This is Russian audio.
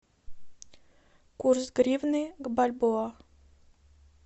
курс гривны к бальбоа